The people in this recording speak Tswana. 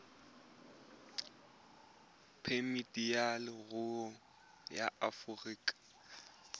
phemiti ya leruri ya aforika